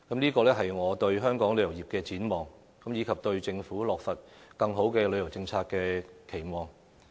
這個是我對香港旅遊業的展望，以及對政府落實更好的旅遊政策的期望。